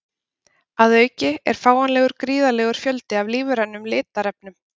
að auki er fáanlegur gríðarlegur fjöldi af lífrænum litarefnum